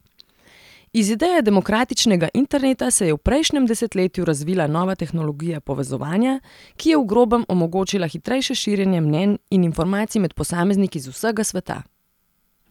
Iz ideje demokratičnega interneta se je v prejšnjem desetletju razvila nova tehnologija povezovanja, ki je v grobem omogočila hitrejše širjenje mnenj in informacij med posamezniki z vsega sveta.